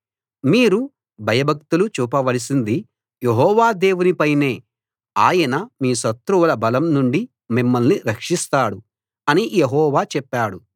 మీరు భయభక్తులు చూపవలసింది యెహోవా దేవుని పైనే ఆయన మీ శత్రువుల బలం నుండి మిమ్మల్ని రక్షిస్తాడు అని యెహోవా చెప్పాడు